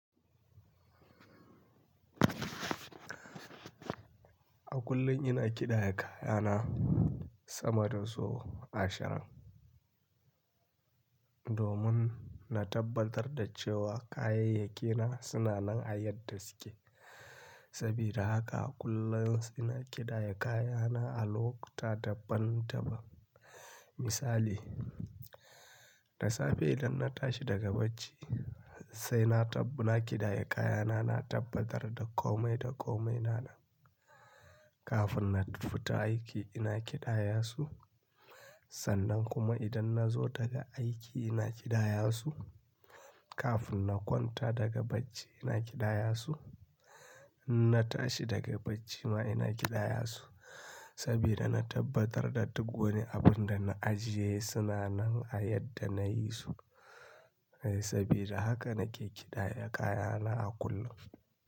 A kullum ina ƙidaya kayana sama da sau ashirin, domin na tabbatar da cewa kayayyaki na suna nan a yadda suke. Sabida haka a kullum ina ƙidaya kayana a lokuta daban-daban. Misali, da safe idan na tashi daga bacci sai na ƙidaya kayana, na tabbatar da komai da komai na nan. Kafin na fita aiki ina ƙidaya su, sannan kuma idan na zo daga aiki ina ƙidaya su. Kafin na kwanta daga bacci ina ƙidaya su, inna tashi daga bacci ma ina ƙidaya su. Sabida na tabbatar da duk wani abin da na ajiye suna nan a yadda na yi su. Sabida haka nake ƙidaya kayana a kullum.